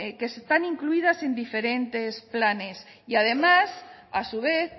que están incluidas en diferentes planes y además a su vez